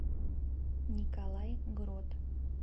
николай грот